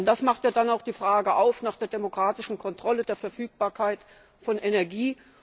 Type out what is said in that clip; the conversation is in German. Denn daraus ergibt sich ja dann auch die Frage nach der demokratischen Kontrolle der Verfügbarkeit von Energie.